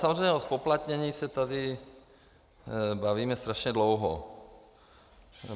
Samozřejmě o zpoplatnění se tady bavíme strašně dlouho.